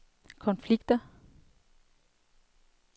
konflikter